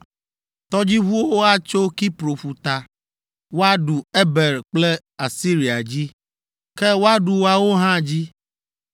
Tɔdziʋuwo atso Kipro ƒuta woaɖu Eber kple Asiria dzi, ke woaɖu woawo hã dzi.”